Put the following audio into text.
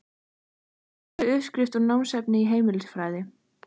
Stuðst við uppskrift úr námsefni í heimilisfræði.